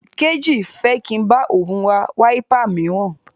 Kéjì fẹ́ kí n bá òun ra wáípà míràn.